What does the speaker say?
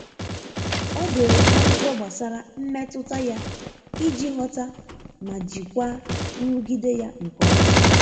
O dere akwụkwọ gbasara mmetụta ya iji ghọta ma jikwaa nrụgide ya nke ọma.